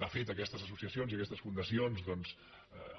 de fet aquestes associa cions i aquestes fundacions doncs